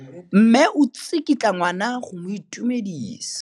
Mme o tsikitla ngwana go mo itumedisa.